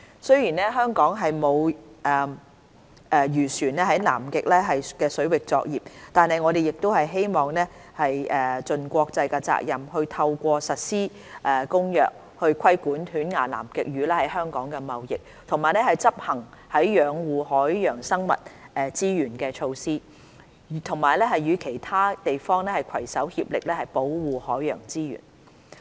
雖然香港沒有漁船在南極水域作業，但我們亦希望盡國際責任，透過實施《公約》，規管犬牙南極魚在香港的貿易，以及執行養護海洋生物資源的措施，與其他地方攜手協力保護海洋資源。